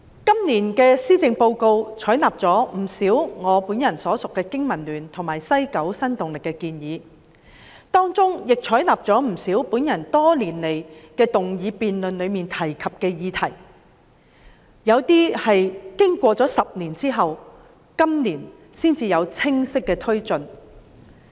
今年的施政報告採納了不少我本人所屬的香港經濟民生聯盟及西九新動力提出的建議，以及我多年來在議案辯論中提及的不少建議，部分建議經過10年，至今年才有清晰的推進。